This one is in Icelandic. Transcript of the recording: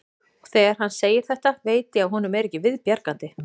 Og þegar hann segir þetta veit ég að honum er ekki við bjargandi.